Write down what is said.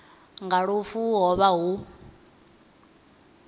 nga lufu ho vha hu